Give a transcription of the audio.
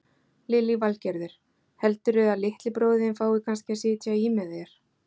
Lillý Valgerður: Heldurðu að litli bróðir þinn fái kannski að sitja í með þér?